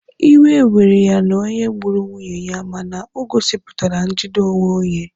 Iwe were ya na onye gburu nwunye ya mana o gosipụtara njide onwe onye.